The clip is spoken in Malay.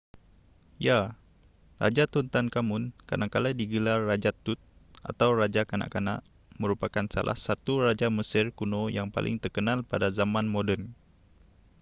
ya raja tutankhamun kadangkala digelar raja tut atau raja kanak-kanak merupakan salah satu raja mesir kuno yang paling terkenal pada zaman moden